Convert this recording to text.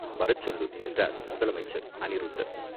"வரச் சொல்லு!" என்றார் முதல் அமைச்சர் அநிருத்தர்.